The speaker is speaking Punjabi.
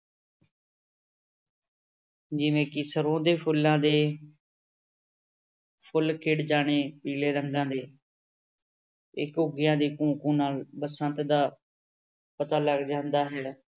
ਜਿਵੇਂ ਕਿ ਸਰੋਂ ਦੇ ਫੁੱਲਾਂ ਦੇ ਫੁੱਲ ਖਿੜ ਜਾਣੇ ਪੀਲੇ ਰੰਗਾਂ ਦੇ ਤੇ ਘੁੱਗੀਆਂ ਦੀ ਘੂੰ ਘੂੰ ਨਾਲ ਬਸੰਤ ਦਾ ਪਤਾ ਲੱਗ ਜਾਂਦਾ ਹੈ।